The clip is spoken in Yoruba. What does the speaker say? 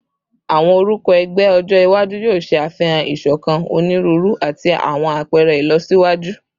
Awọn orukọ ẹgbẹ ọjọ iwaju yoo ṣe afihan isokan, oniruuru, ati awọn apẹrẹ ilọsiwaju